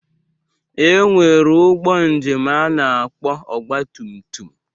E nwere ụgbọ njem a na-akpọ ọgbatumtum